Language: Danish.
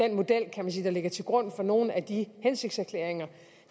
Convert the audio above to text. kan man sige der ligger til grund for nogle af de hensigtserklæringer